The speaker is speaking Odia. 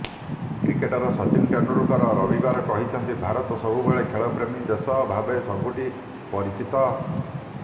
କ୍ରିକେଟର ସଚିନ ତେନ୍ଦୁଲକର ରବିବାର କହିଛନ୍ତି ଭାରତ ସବୁବେଳେ ଖେଳପ୍ରେମୀ ଦେଶ ଭାବେ ସବୁଠି ପରିଚିତ